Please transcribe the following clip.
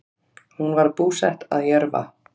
Hún var búsett að Jörfa